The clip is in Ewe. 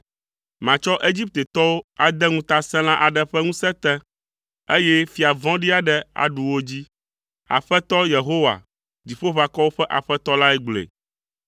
Matsɔ Egiptetɔwo ade ŋutasẽla aɖe ƒe ŋusẽ te, eye fia vɔ̃ɖi aɖe aɖu wo dzi.” Aƒetɔ, Yehowa, Dziƒoʋakɔwo ƒe Aƒetɔ lae gblɔe.